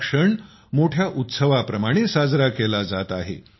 हा क्षण मोठ्या उत्सवाप्रमाणे साजरा केला जात आहे